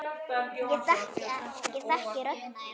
Ég þekki rödd þína.